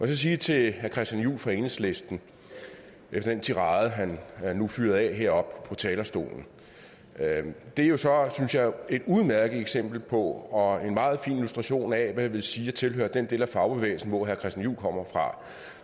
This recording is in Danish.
sige til herre christian juhl fra enhedslisten efter den tirade han han nu fyrede af heroppe på talerstolen det er jo så synes jeg et udmærket eksempel på og en meget fin illustration af hvad det vil sige at tilhøre den del af fagbevægelsen hvor herre christian juhl kommer fra